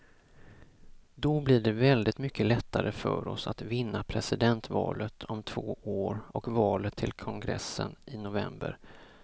Då blir det väldigt mycket lättare för oss att vinna presidentvalet om två år och valet till kongressen i november.